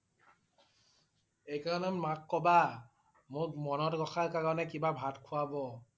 এইকাৰণে মাক কবা। মোক মনত ৰখাৰ কাৰণে কিবা ভাত খোৱাব।